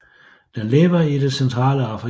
Den lever i det centrale Afrika